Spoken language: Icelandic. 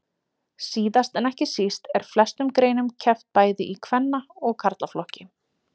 Síðast en ekki síst er í flestum greinum keppt bæði í kvenna og karlaflokki.